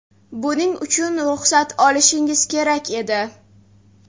Buning uchun ruxsat olishingiz kerak edi.